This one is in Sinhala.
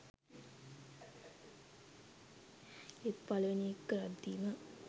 ඒත් පළවෙනි එක කරද්දිම